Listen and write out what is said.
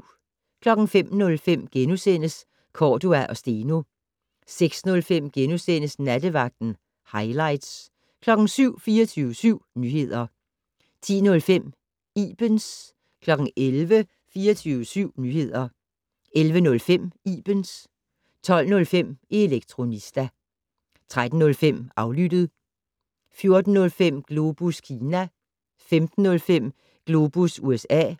05:05: Cordua & Steno * 06:05: Nattevagten - hightlights * 07:00: 24syv Nyheder 10:05: Ibens 11:00: 24syv Nyheder 11:05: Ibens 12:05: Elektronista 13:05: Aflyttet 14:05: Globus Kina 15:05: Globus USA